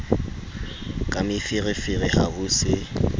ka meferefere ha ho se